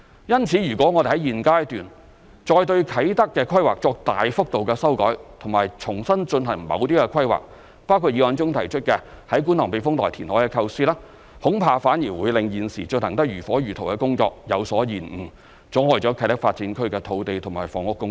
因此，如果我們在現階段再對啟德規劃作大幅度修改和重新進行某些規劃，包括議案中所提出於觀塘避風塘填海的構思，恐怕反而會令現時進行得如火如荼的工作有所延誤，阻礙啟德發展區的土地及房屋供應。